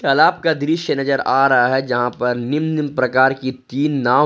तालाब का दृश्य नजर आ रहा है जहां पर निम्न निम्न प्रकार की तीन नांव है।